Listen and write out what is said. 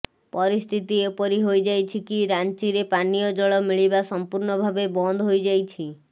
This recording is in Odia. ପରିସ୍ଥିତି ଏପରି ହୋଇଯାଇଛି କି ରାଞ୍ଚିରେ ପାନିୟ ଜଳ ମିଳିବା ସମ୍ପୁର୍ଣ୍ଣ ଭାବେ ବନ୍ଦ ହୋଇଯାଇଛି